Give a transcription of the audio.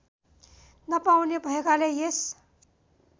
नपाउने भएकाले यस